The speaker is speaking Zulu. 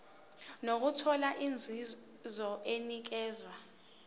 nokuthola inzuzo enikezwa